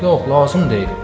Yox, lazım deyil.